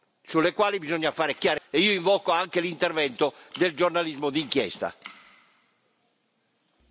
Troppe oscurità, sulle quali bisogna fare chiarezza, e io invoco anche l'intervento del giornalismo d'inchiesta.